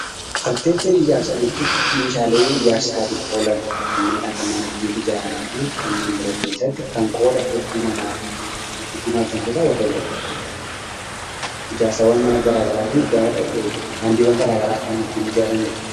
Arkitekcherii ijaarsaa jechuun meeshaalee ijaarsaatiif oolan kanneen akka mana ittiin ijaaranii fi kanneen biroo keessatti kan qooda hedduu namaaf gumaachan keessaa warreen tokko. Ijaarsaawwan mana garaagaraa fi daandiiwwan garaagaraa kan ittiin ijaaranii dha.